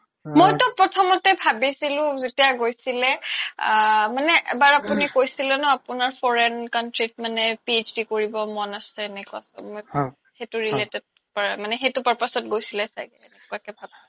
মইতো প্ৰথ্ম্তে ভাবিছিলো যেতিয়া গৈছিলে আ মানে এবাৰ আপোনি কৈছিলে ন আপোনাৰ foreign country ত PhD কৰিব মন আছে তেনেকুৱা মই সেইতো related কৰা মানে সেইতো purpose ত গৈছিলে চাগে এনেকুৱাকে ভাবা